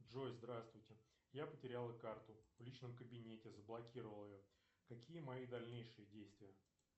джой здравствуйте я потерял карту в личном кабинете заблокировал ее какие мои дальнейшие действия